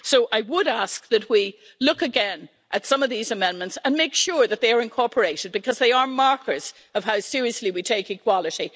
So I would ask that we look again at some of these amendments and make sure that they are incorporated, because they are markers of how seriously we take equality.